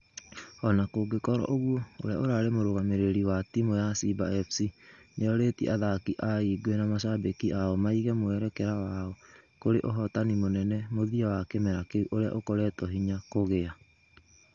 Ona gũgĩkorwo ũguo , ũria ũrare mũrugamĩrĩri wa timu ya simba sc nĩorĩtie athaki a ingwe na mashabĩki ao maige mwerekera wao kũrĩ ũhotani mũnene mũthia wa kĩmera kĩu ũria ũkoretwo hinya kũgia